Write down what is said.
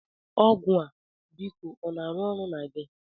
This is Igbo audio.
Ọgwụ a, biko ọ na-arụ ọrụ na gị?